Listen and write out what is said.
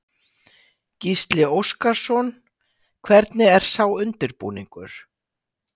Gísli Óskarsson: Hvernig er sá undirbúningur?